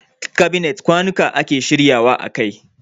Kabinet kwanuka ake shirya wa a kai.